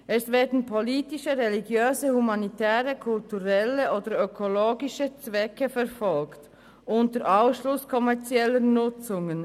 Es werden politische, religiöse, humanitäre, kulturelle oder ökologische Zwecke verfolgt, unter Ausschluss kommerzieller Nutzungen.